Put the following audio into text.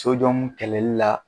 kɛlɛli la.